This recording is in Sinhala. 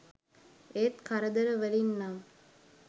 ඒත් කරදර වලින් නම්